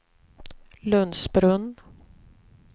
Lundsbrunn